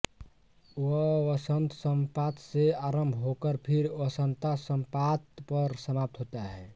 वह वसंतसंपात से आरंभ होकर फिर वसंतासंपात पर समाप्त होता है